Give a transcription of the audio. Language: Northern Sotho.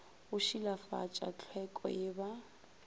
go šilafatša tlhweko ye ba